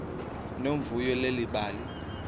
nomvuyo leli bali